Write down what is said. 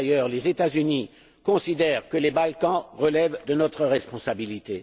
D'ailleurs, les États Unis considèrent que les Balkans relèvent de notre responsabilité.